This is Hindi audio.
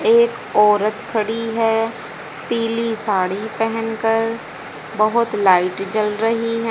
एक औरत खड़ी है पीली साड़ी पहनकर बहोत लाइट जल रही है।